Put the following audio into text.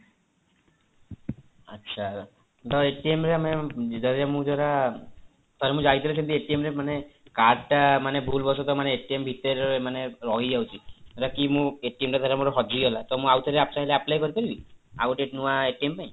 ଆଚ୍ଛା ତ ରେ ଆମେ ଯଦି ମୁଁ ଥରେ ମୁଁ ଯାଇଥିଲେ ସେମିତି ରେ ମାନେ card ଟା ମାନେ ଭୁଲ ବଶତଃ ମାନେ ଭିତରେ ମାନେ ରହିଯାଉଛି ଧର କି ମୁଁ ଟା ମୋର ହଜିଗଲା ଟା ମୁଁ ଆଉଥରେ ଚାହିଁଲେ apply କରିପାରିବି ଆଉ ଗୋଟେ ନୂଆ ପାଇଁ